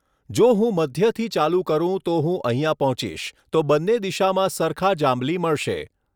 જો હું મધ્યથી ચાલુ કરુ તો હું અહીંયા પહોંચીશ તો બંને દિશામાં સરખા જાંબલી મળશે.